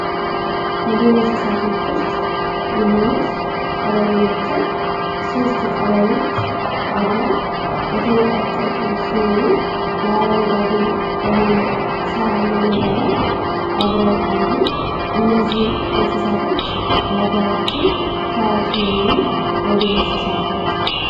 ከዱር እንስሳቶች ውስጥ የሆኑት ቀበሮ ናቸው። ሶስት ቀበሮዎች አብረው የተንቋጠጡ ሲሆኑ የአረጓዲ በሆነው ሳራማ ሜዳ ላይ አብረው አሉ። እነዚህ እንስሳቶች በሀገራችን ታዋቂ የሆኑ የዱር እንስሳት ናቸው።